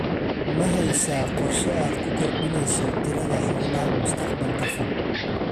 Ma haysaa qorshe aad ku kordhinayso tirada xoolaha mustaqbalka fog?